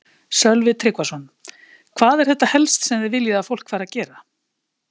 Sölvi Tryggvason: Hvað er þetta helst sem þið viljið að fólk fari að gera?